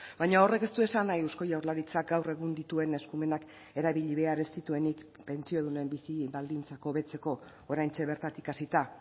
baina horrek ez du esan nahi eusko jaurlaritzak gaur egun dituen eskumenak erabili behar ez dituenik pentsiodunen bizi baldintzak hobetzeko oraintxe bertatik hasita